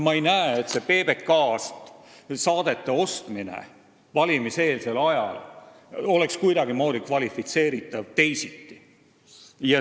Ma ei näe, et see PBK-lt saadete ostmine valimiseelsel ajal oleks kuidagi teisiti kvalifitseeritav.